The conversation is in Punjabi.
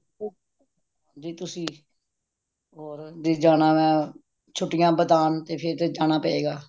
ਜੇ ਤੁਸੀ ਹੋਰ ਜੇ ਜਾਣਾ ਵੇ ਛੁਟਿਆ ਬੀਤਾਣ ਤੇ ਫੇਰ ਤੇ ਜਾਣਾ ਪਏਗਾ